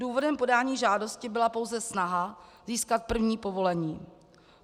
Důvodem podání žádosti byla pouze snaha získat první povolení.